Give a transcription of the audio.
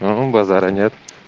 да ну базара нет